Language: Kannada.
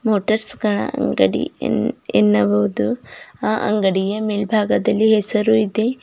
ಮೋಟರ್ಸ್ ಗಳ ಅಂಗಡಿ ಎನ್ ಎನ್ನಬಹುದು ಆ ಅಂಗಡಿಯ ಮೇಲ್ಬಾಗದಲ್ಲಿ ಹೆಸರು ಇದೆ.